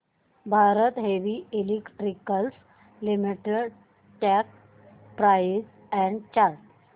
Bharat heavy electricals limited stock price and chart